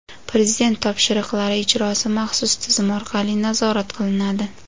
Prezident topshiriqlari ijrosi maxsus tizim orqali nazorat qilinadi.